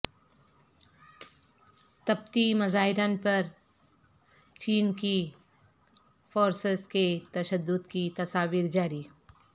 تبتی مظاہرین پر چین کی فورسز کے تشدد کی تصاویر جاری